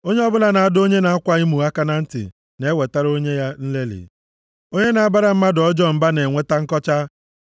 Onye ọbụla na-adọ onye na-akwa emo aka na ntị na-ewetara onwe ya nlelị; onye na-abara mmadụ ọjọọ mba na-enweta nkọcha.